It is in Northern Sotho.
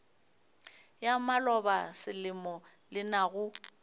ya maloba selemo le naga